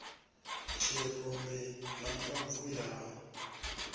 tshirumbi na mbabvu ya u